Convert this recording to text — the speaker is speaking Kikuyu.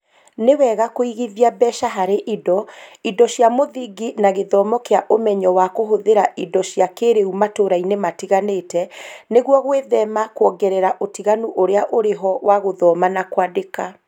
Nĩ wega kũigithia mbeca harĩ indo, indo cia mũthingi na gĩthomo kĩa ũmenyo wa kũhũthĩra indo cia kĩĩrĩu matũũra-inĩ matiganĩte nĩguo gwĩthema kwongerera ũtiganu ũrĩa ũrĩ ho wa gũthoma na kwandĩka